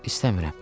İstəmirəm.